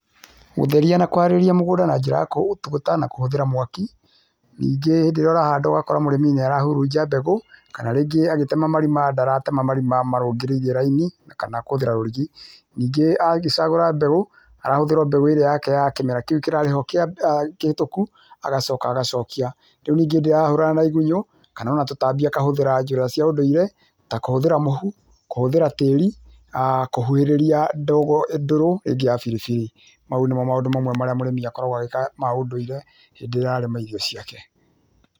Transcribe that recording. Gũthĩria na kũharĩria mũgũnda na njĩra ya gũtũgũta na kũhũthĩra mwaki, nĩnge rĩrĩa ũrahanda ũgakũra mũrĩmi nĩarahũrũja mbegũ kana rĩngĩ agĩtĩma marima ndaratema marima marũngĩrĩiriĩ raini kana kũhũthĩra rũrigi, nĩnge agĩcagũra mbegũ, arahũthĩra mbegũ ĩrĩa yake ya kĩmĩra kĩũ kĩa kĩhĩtũkũ agacoka agacokia. Rĩũ ninge hĩndĩria na igũnyo kana ũna tũtambi akahũthĩra njĩra cia ũndũire ta kũhũthĩra mohũ kũhũthĩra tĩĩri kũhũhĩrĩria ndogo ndũrũ ĩngĩ ya biribiri. Maũ nĩmo maũndũ mamwe marĩa mũrĩmi akoragwo agĩka maũndũire hĩndĩrĩa ararĩma irio ciake.